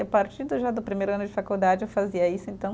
A partir já do primeiro ano de faculdade eu fazia isso, então.